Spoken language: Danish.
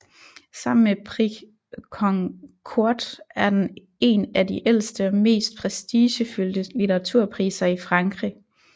Sammen med Prix Goncourt er den en af de ældste og mest prestigefyldte litteraturpriser i Frankrig